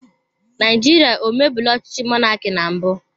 Naijirịa emebula ọchịchị mọnaki na mbụ?